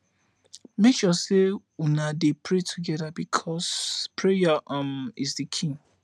mek sure sey una dey pray togeda bikos prayer um is di key